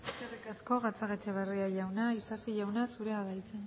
eskerrik asko gatzagaetxebarria jauna isasi jauna zurea da hitza